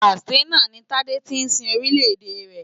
Katsina ni Tádé ti sin Orílẹ̀ èdè rẹ̀.